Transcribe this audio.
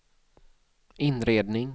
inredning